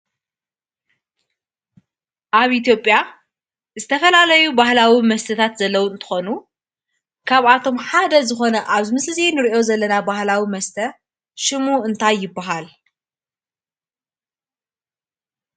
ኣብ ኢትዮጵያ ዝተፈላለዩ ባህላዊ መስተታት ዘለዉ እንትኾኑ ካብኣቶም ሓደ ዝኾነ ኣብዚ ምስሊ እዚ እንርእዮ ዘለና ባህላዊ መስተ ሽሙ እንታይ ይብሃል?